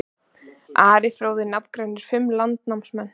Ari fróði nafngreinir fimm landnámsmenn.